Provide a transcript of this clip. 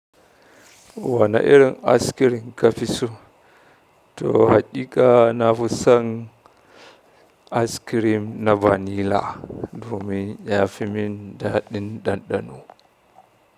Wana irin askirim ka fi so? To hakika na fi son askirim na vanila domin ya fi min daɗin ɗanɗano.